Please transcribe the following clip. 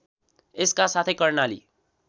यसका साथै कर्णाली